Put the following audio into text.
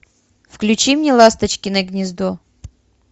включи мне ласточкино гнездо